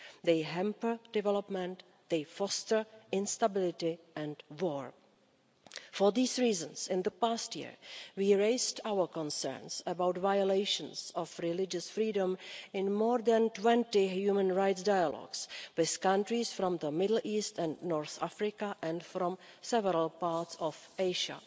They hamper development and they foster instability and war. For these reasons, in the past year we raised our concerns about violations of religious freedom in more than 20 human rights dialogues with countries from the Middle East and North Africa and from several parts of Asia.